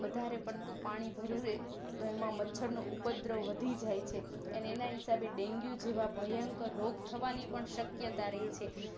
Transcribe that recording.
વધારે પડતું પાણી ભરિયુંરે તો એમાં મચ્છર નો ઉપદ્ર વધી જાય છે એના હિસાબે ડેન્ગ્યું જેવા ભયંકર રોગ થવાની પણ સકીયતારે છે